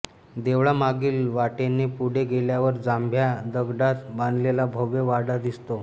देवळामागील वाटेने पुढे गेल्यावर जांभ्या दगडात बांधलेला भव्य वाडा दिसतो